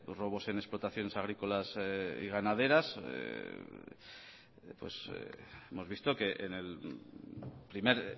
robos en explotaciones agrícolas y ganaderas hemos visto que en el primer